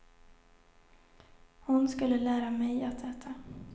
Hon skulle lära mig att äta.